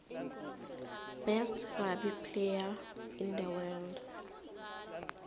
best rugby player in the world